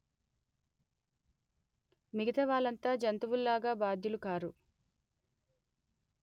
మిగతా వాళ్ళంతా జంతువుల్లాగా బాధ్యులుకారు